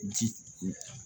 Ji